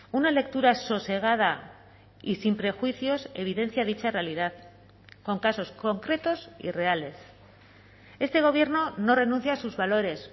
una lectura sosegada y sin prejuicios evidencia dicha realidad con casos concretos y reales este gobierno no renuncia a sus valores